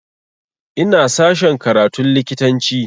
Ina sashen karatun likitanci